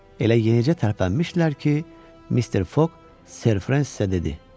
Elə yenicə tərpənmişdilər ki, Mister Foq Ser Fresizə dedi: